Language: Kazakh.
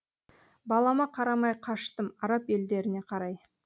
балама қарамай қаштым араб елдеріне қарай